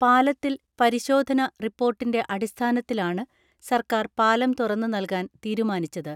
പാലത്തിൽ പരിശോധന റിപ്പോർട്ടിന്റെ അടിസ്ഥാനത്തിലാണ്‌ സർക്കാർ പാലം തുറന്നു നൽകാൻ തീരുമാനിച്ചത്.